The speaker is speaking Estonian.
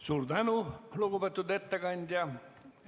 Suur tänu, lugupeetud ettekandja!